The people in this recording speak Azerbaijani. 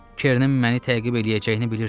Kerenin məni təqib eləyəcəyini bilirdim.